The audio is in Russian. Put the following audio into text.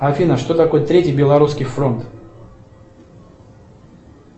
афина что такое третий белорусский фронт